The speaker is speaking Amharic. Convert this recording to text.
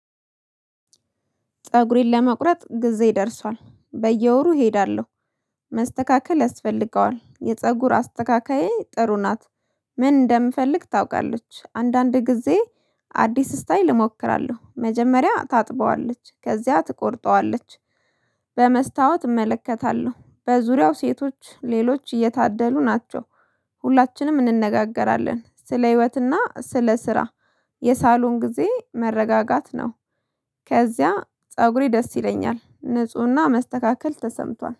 ፀጉሬን ለመቁረጥ ጊዜ ደርሷል በየወሩ እሄዳለሁ መስተካከል ያስፈልገዋል የፀጉር አስተካካዬ ጥሩ ናት። ምን እንደምፈልግ ታውቃለች አንዳንድ ጊዜ አዲስ ስታይል እሞክራለሁ መጀመሪያ ታጥበዋለች ከዚያ ትቆርጠዋለች። በመስታወት እመለከታለሁ በዙሪያው ሴቶች ሌሎች እየታደሉ ናቸው። ሁላችንም እንነጋገራለን ስለ ህይወትና ስለ ስራ የሳሎን ጊዜ መረጋጋት ነው። ከዚያ ፀጉሬ ደስ ይለኛል ንፁህና መስተካከል ተሰምቷል